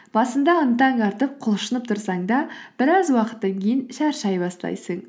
басында ынтаң артып құлшынып тұрсаң да біраз уақыттан кейін шаршай бастайсың